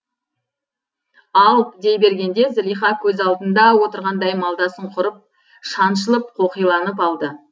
ал дей бергенде зылиха көз алдында отырғандай малдасын құрып шаншылып қоқиланып алды